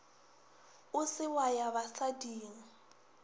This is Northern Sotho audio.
o se wa ya basading